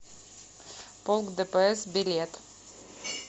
полк дпс билет